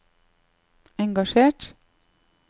engasjert